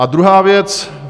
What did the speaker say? A druhá věc.